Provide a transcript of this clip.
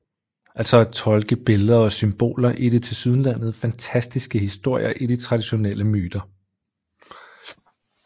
Altså at tolke billeder og symboler i de tilsyneladende fantastiske historier i de traditionelle myter